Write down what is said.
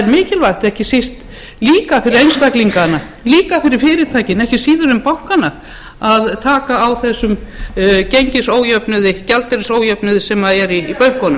mikilvægt ekki síst líka fyrir einstaklingana líka fyrir fyrirtækin ekki síður en bankana að taka á þessu gengisójöfnuði gjaldeyrisójöfnuði sem er í bönkunum